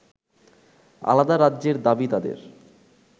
আলাদা রাজ্যের দাবি তাদের